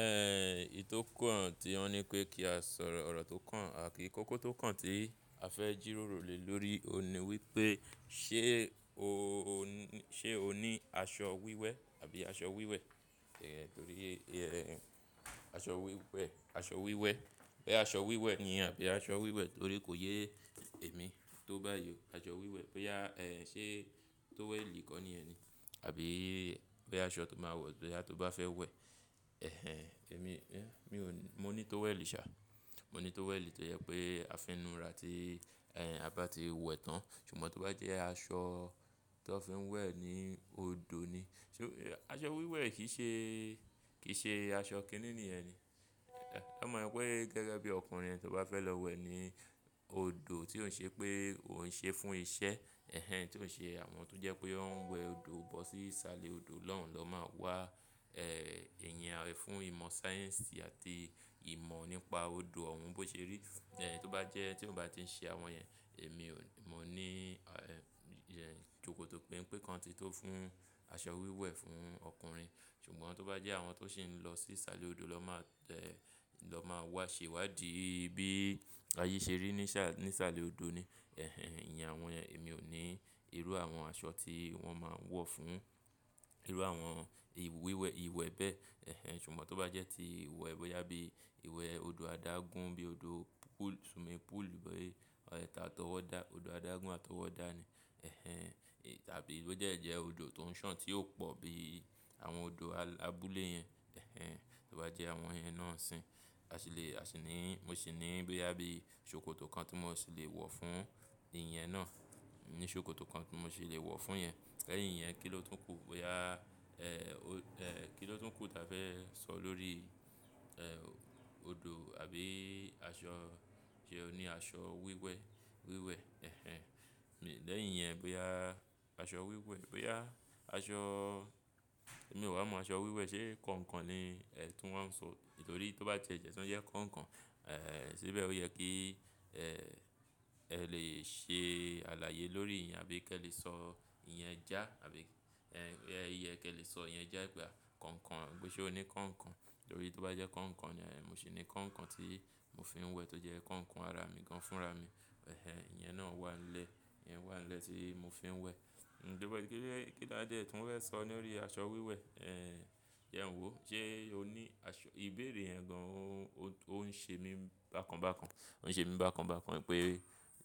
Ẹn, èyí tò kan tí wọ́n ní pé kí a sọ ọ̀rọ̀, ọ̀rọ̀ tó kàn àti kókó tó kàn tí a fẹ́ jìròrò lé lórí òun ni wípé ṣé o ní ṣe ọ ní aṣọ wíwẹ̀ àbí aṣọ wíwẹ̀? Ẹ̀hen torí ẹ́ aṣọ wíwẹ̀, aṣọ wíwẹ̀, pé aṣọ wíwẹ̀ ni àbí aṣọ wíwẹ̀ torí kò yé èmi tó bá yiọ aṣọ wíwẹ̀ bóyá ẹ́ ṣé tówẹ́ẹ̀lì kọ́ ni ẹni, àbí bóyá aṣọ tó máa wọ̀ bóyá tó bá fẹ́ wẹ̀. Ẹ̀hen èmi, mí ò ní, mo ní tówẹ́ẹ̀lì ṣà. Mo ní tówẹ́ẹ̀lì tó jẹ pé a fi inú ra tí ẹ́ a bá ti wẹ̀ tán. Ṣùgbọ́n tó bá jẹ́ aṣọ tán fi ń wẹ̀ ni òdo ni. Ṣé aṣọ wíwẹ̀ kì í ṣe, kì í ṣe aṣọ kìíní ní ẹni. Ẹ̀ mọ̀ pé gẹ́gẹ́ bí ọkùnrin ẹni tó bá fẹ́ lọ wẹ̀ ni òdo tí ò ṣe pé ò n ṣe fún iṣẹ́. Ẹ̀hen tí ò ṣe àwọn tó jẹ́ pé ó ń wẹ̀ òdo bọ́ sí salé òdo lọ́hun lọ́ máa wá ẹ́ ìyẹn àwọn fún ìmọ̀ sáyẹ́ǹsì àti ìmọ̀ nípa òdo ọ̀wún bó ṣe rí. Ẹ̀hen tó bá jẹ́ tí òun bá ti ń ṣe àwọn ẹ́, èmi ò ní, mọ́ ní ẹ́ ṣòkòtò péńpé kan tí tó fún aṣọ wíwẹ̀ fún ọkùnrin. Ṣùgbọ́n tó bá jẹ́ àwọn tó sì ń lọ sí salé òdo lọ́ máa ẹ̀ lọ́ máa wá ṣèwádìí bí ayé ṣe rí ní sá ní isalé òdo ni. Ẹ̀hen ìyẹn àwọn yẹ́n èmi ò ní irú àwọn aṣọ tí wọ́n máa ń wọ̀ fún irú àwọn ìwíwẹ̀ ìwẹ̀ bẹ́ẹ̀. Ẹ̀hen ṣùgbọ́n tó bá jẹ́ tí ìwẹ̀ bóyá bí ìwẹ̀ òdo adágún bí òdo pool swimming pool bí ẹ́ta àtọwọ́dá, òdo adágún àtọwọ́dá ni. Ẹ̀hen tàbí bó jẹ́ jẹ́ òdo tó ń ṣàn tí ò pò bí àwọn òdo abúlé yẹn. Ẹ̀hen tó bá jẹ́ àwọn ẹyin náà ń sìn. A sì lè, a sì ní mo sì ní bóyá bí ṣòkòtò kan tí mo sì lè wọ̀ fún ìyẹn náà. Mo ní ṣòkòtò kan tí mo sì lè wọ̀ fún ìyẹn. Lẹ́yìn yẹn, kí ló tún kù bóyá ẹ́ o ẹ́ kí ló tún kù tí a fẹ́ sọ lórí ẹ́ òdo àbí aṣọ, ṣé ó ní aṣọ wíwẹ̀, wíwẹ̀. Ẹ̀hen lẹ́yìn yẹn bóyá aṣọ wíwẹ̀, bóyá aṣọ èmi ò wá mọ́ aṣọ wíwẹ̀ sé kàǹkàn ni ẹ́ tí wọ́n ń sọ nítorí tó bá jẹ́ tìẹ̀ jẹ́ tà jẹ́ kàǹkàn. Ẹ̀ ṣíbẹ́ ó yẹ kí ẹ́ ẹ lè ṣe àlàyé lórí ìyẹn àbí kí ẹ lè sọ ìyẹn já àbí ẹ́ yẹ kí ẹ lè sọ ìyẹn já ìgbà kọ̀ǹkàn. Gbo ṣe o ní kọ̀ǹkàn? Nítorí tó bá jẹ́ kọ̀ǹkàn ni ẹ̀ mo sì ní kọ̀ǹkàn tí mo fi ń wẹ̀ tó jẹ́ kọ̀ǹkàn ara mi gan fúnra mi. Ẹ̀hen ìyẹn náà wà nílẹ̀, ìyẹn wà nílẹ̀ tí mo fi ń wẹ̀. Ǹjẹ́ bóyá kí ló, kí ló dé tí wọ́n fẹ́ sọ lórí aṣọ wíwẹ̀ ẹ́ jẹ n ò wò. Ṣé o ní aṣọ ìbéèrè yẹn gan ọ́n, ó ń ṣe mí bákan bákan. Ó ń ṣe mí bákan bákan wípé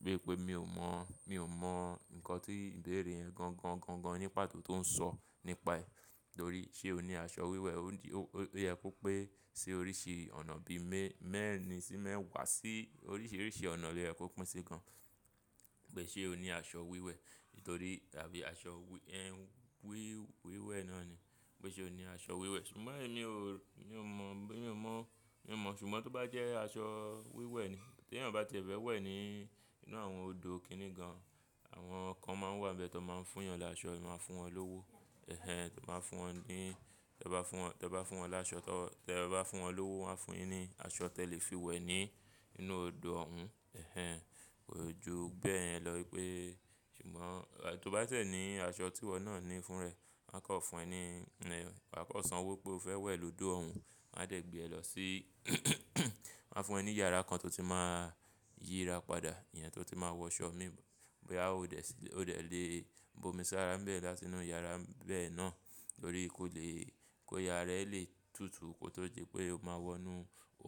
bí pé mi ò mọ̀, mi ò mọ̀ nǹkan tí ìbéèrè yẹn gan gan gan gan ní pàtó tó ń sọ nípa ẹ. Nítorí ṣé o ní aṣọ wíwẹ̀ ó yẹ kó pé ṣe oríṣi ọ̀nà bí mẹ́ mẹ́rin sí mẹ́wàá sí oríṣiríṣi ọ̀nà lè kó pín sí gan. Pé ṣé o ní aṣọ wíwẹ̀? Nítorí àbí aṣọ wí wíwẹ̀ náà ni. Pé ṣé o ní aṣọ wíwẹ̀? Ṣùgbọ́n èmi ò, mi ò mọ̀ bí mi ò mọ̀, mi ò mọ̀. Ṣùgbọ́n tó bá jẹ́ aṣọ wíwẹ̀ ni tí ẹ́ bá ti fẹ́ wẹ̀ ni inú àwọn òdo kìíní gan. Àwọn kan máa ń wà níbi ẹ́ tó máa ń fún yàn láṣọ, ẹ máa fún wọn lówó. Ẹ̀hen tó bá fún wọn ní, tó bá fún wọn, tó bá fún wọn láṣọ tó bá fún wọn lówó, wọ́n á fún yín ní aṣọ tí ẹ lè fi wẹ̀ ni inú òdo ọ̀wún. Ẹ̀hen kò ju bẹ́ẹ̀ yẹn lọ pé ṣùgbọ́n tó bá tiẹ̀ ní aṣọ tí ìwọ náà ní fún ẹ. Wọn a kàn fún ẹ ní ẹ́, wọ́n kọ̀ sanwó pé o fẹ́ wẹ̀ lọ́ òdo ọ̀wún. Wọn á tẹ̀ gbé ẹ lọ sí wọ́n á fún ẹ ní yàrá kan tó ti máa yíra padà. Ìyẹn tó ti máa wọ ṣọ́ mì bọ́yá o dẹ̀ sí, o dẹ̀ lè bomi sára ńbẹ̀ láti inú yàrá bẹ́ẹ̀ náà. Nítorí kò lè kí àra ẹ lè tutù kó tó di pé o máa wọnú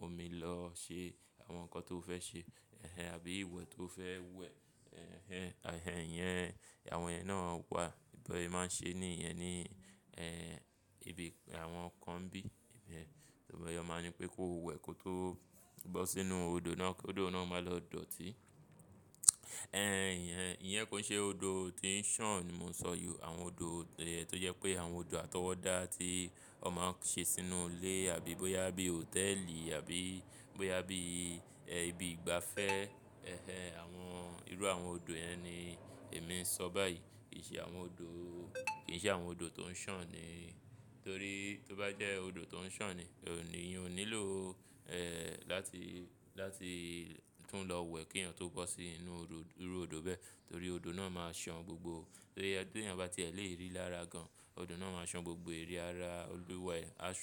omi lọ ṣe àwọn nǹkan tó o fẹ́ ṣe. Ẹ̀hen àbí ìwẹ̀ tó o fẹ́ wẹ̀. Ẹ̀hen àì yẹn, àwọn ẹyin náà wà. Bọn ẹ máa ń ṣe ní ìyẹn ni ẹ́ ibi àwọn kan bí. Ìbọn ẹ máa ń ní pé kó wẹ̀ kó tó bọ́ sínú òdo náà, kí òdo náà máa lọ dọ̀tí. Ẹ́ n ìyẹn, ìyẹn kò ń ṣe òdo tí ń ṣàn ni mo ń sọ yó. Àwọn òdo tẹ́ ẹ́ tó jẹ́ pé àwọn òdo àtọwọ́dá tí ọ máa ń ṣe sínú ilé àbí bóyá bí hòtẹ́ẹ̀lì àbí bóyá bí ẹ́ ibi ìgbafẹ́. Ẹ̀hen àwọn irú àwọn òdo yẹn ni èmi ń sọ báyìí. Kì í ṣe àwọn òdo, kì í ṣe àwọn òdo tó ń ṣàn ni. Nítorí tó bá jẹ́ òdo tó ń ṣàn ni, òní yẹn ò nílò ẹ́ láti, láti tún lọ wẹ̀ kí èèyàn tó bọ́ sí inú òdo irú òdo bẹ́ẹ̀. Nítorí òdo náà máa ṣàn gbogbo. Tó yẹ tí èèyàn bá ti ẹ́ lè rí lára gan, òdo náà máa ṣàn gbogbo èrí ara olúwẹ̀ẹ́ aṣọ.